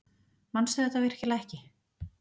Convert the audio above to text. Manstu þetta virkilega ekki?